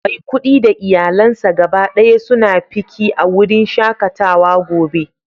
Maikudi da iyalansa gaba daya suna fiki a wurin shakatawa gobe